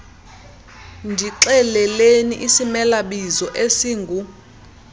ndixeleleni isimelabizo esingu